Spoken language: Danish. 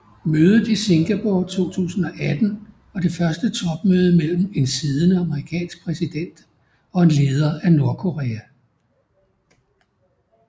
Mødet i Singapore 2018 var det første topmøde mellem en siddende amerikansk præsident og en leder af Nordkorea